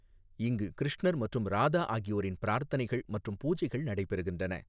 இங்கு கிருஷ்ணர் மற்றும் ராதா ஆகியோரின் பிரார்த்தனைகள் மற்றும் பூஜைகள் நடைபெறுகின்றன.